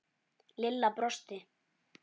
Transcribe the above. Lilla brosti.